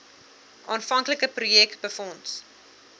aanvanklike projek befonds